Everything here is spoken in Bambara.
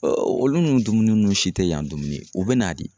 olu ni dumuni si tɛ yan dumuni u bɛ na de